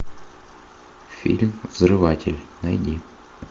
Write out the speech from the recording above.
фильм взрыватель найди